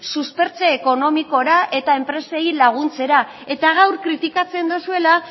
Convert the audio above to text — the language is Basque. suspertze ekonomikora eta enpresei laguntzera eta gaur kritikatzen duzuela